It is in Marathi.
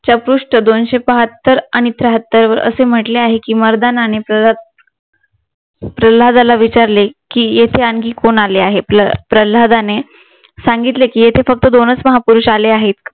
दोनशे बहात्तर आणि त्र्यातर म्हंटले आहे की मर्दानाने प्रह्लादाला विचारले की येथे आणखी कोण आलं आहे प्रह्लादाने सांगितले की येथे फक्त दोनच महापुरुष आले आहेत